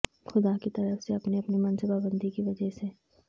خدا کی طرف سے اپنی اپنی منصوبہ بندی کی وجہ سے